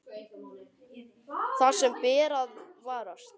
Það sem ber að varast